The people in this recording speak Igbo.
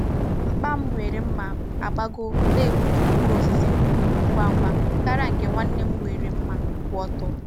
Mgba m nwere mma agbagọ na-egbutu mkpụrụ osisi nkwụ ngwa ngwa karịa nke nwanne m nwere mma kwụ ọtọ.